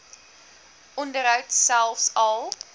onderhoud selfs al